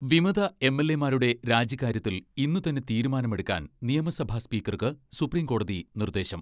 വിമത എം.എൽ.എമാരുടെ രാജിക്കാര്യത്തിൽ ഇന്നു തന്നെ തീരുമാനമെടുക്കാൻ നിയമസഭാ സ്പീക്കർക്ക് സുപ്രിംകോടതി നിർദ്ദേശം